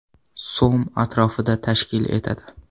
so‘m atrofida tashkil etadi.